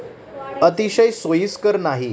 अतिशय सोयीस्कर नाही.